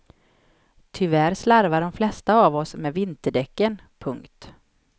Tyvärr slarvar de flesta av oss med vinterdäcken. punkt